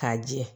K'a jɛ